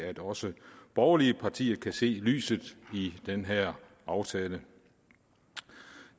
at også borgerlige partier kan se lyset i den her aftale